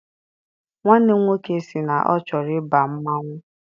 Nwanne m nwoke sị na ọ chọrọ ịba mmanwụ.